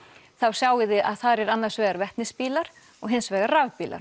sjáið þið að þar er annars vegar vetnis bílar og hins vegar rafbílar